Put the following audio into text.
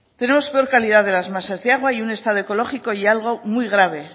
tenemos peor calidad de las masas de agua y un estado ecológico y algo muy grave